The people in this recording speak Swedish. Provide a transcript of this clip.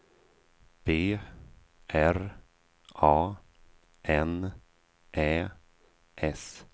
B R A N Ä S